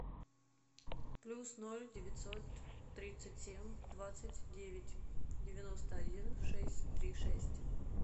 плюс ноль девятьсот тридцать семь двадцать девять девяносто один шесть три шесть